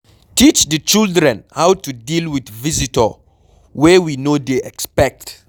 Teach di children how to deal with visitor wey we no dey expect